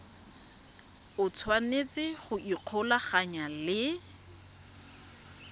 o tshwanetse go ikgolaganya le